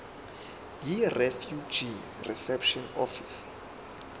yirefugee reception office